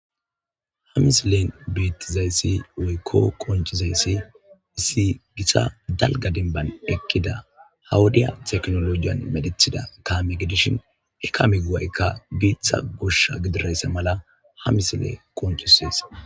Ha misilen beetizayssi woykko konciizayssi issi gitta dalgga dinbban eqqida haa wodiya teknolojiyan medhdhetida kaame gidishin hee kame go'ayikka bitta goshsha gididayssa mala ha misiley qoncisees